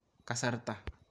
Kasarta